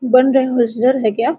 बन रहे है होसजर हैक्या?